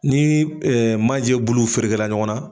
Ni maaje bulu ferekela ɲɔgɔn na.